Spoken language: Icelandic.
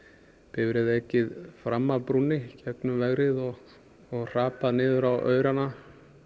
bifreið ekið fram af brúnni gegnum vegrið og og hrapað niður á aurana